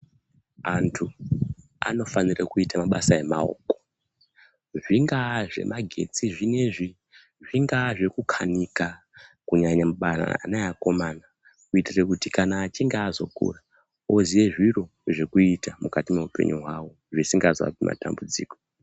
Antu anofanira kuita mabasa emaoko zvingaa zvemagetsi zvinezvi zvingaa zvekukanika kunyanya mubarara ana eakomana kuitire kuti kana achinge azokura oziye zviro zvekuita mukati mweupenyu hwawo zvisingaapi matambudziko.